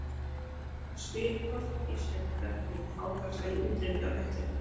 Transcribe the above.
Það spyr hvort að Íslendingar veiði hákarla í útrýmingarhættu.